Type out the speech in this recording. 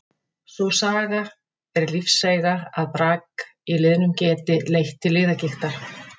Sú saga er lífseiga að brak í liðum geti leitt til liðagigtar.